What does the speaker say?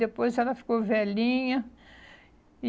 E depois ela ficou velhinha.